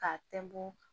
K'a tɛnbɔ